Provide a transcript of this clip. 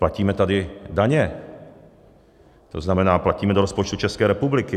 Platíme tady daně, to znamená, platíme do rozpočtu České republiky.